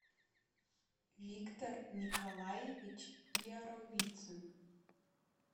виктор николаевич яровицин